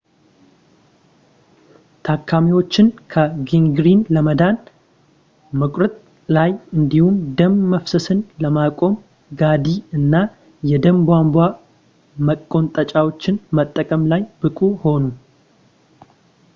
ታካሚዎችን ከጋንግሪን ለማዳን መቁረጥ ላይ እንዲሁም ደም መፍሰስን ለማቆም ጋዲ እና የደም ቧንቧ መቆንጠጫዎችን መጠቀም ላይ ብቁ ሆኑ